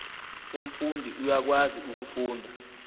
umfundi uyakwazi ukufunda